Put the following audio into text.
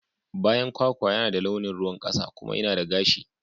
Bayan kwakwa yana da launin ruwan kasa kuma yana da gashi.